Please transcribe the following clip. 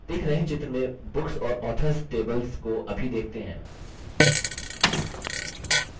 दिख रहे चित्र में books और authors tables को अभी देखते हैं